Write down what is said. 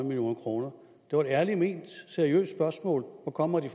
million kroner det var et ærligt ment seriøst spørgsmål hvor kommer de